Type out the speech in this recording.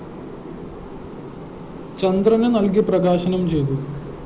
ചന്ദ്രന് നല്‍കി പ്രകാശനം ചെയ്തു